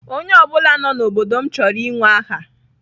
Onye ọ bụla nọ n'obodo m chọrọ inwe aha.